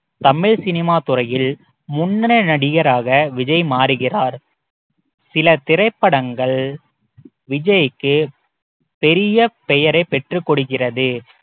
Tamil cinema துறையில் முன்னணி நடிகராக விஜய் மாறுகிறார் சில திரைப்படங்கள் விஜய்க்கு பெரிய பெயரை பெற்றுக் கொடுக்கிறது